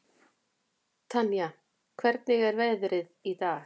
Tanía, hvernig er veðrið í dag?